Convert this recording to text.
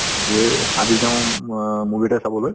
যে আজি তেওঁ অ movie এটা চাবলৈ